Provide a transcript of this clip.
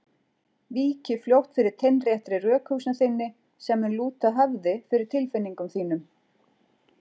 Víki fljótt fyrir teinréttri rökhugsun þinni sem mun lúta höfði fyrir tilfinningum þínum.